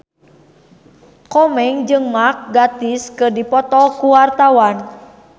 Komeng jeung Mark Gatiss keur dipoto ku wartawan